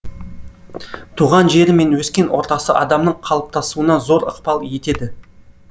туған жері мен өскен ортасы адамның қалыптасуына зор ықпал етеді